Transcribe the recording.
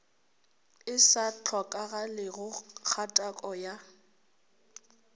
e sa hlokagalego kgatako ya